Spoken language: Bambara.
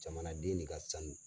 Jamanaden de ka sanu.